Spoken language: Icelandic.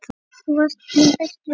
Þú varst minn besti vinur.